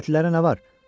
Dövlətlilərə nə var?